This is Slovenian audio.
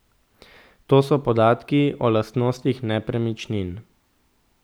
To so podatki o lastnostih nepremičnin.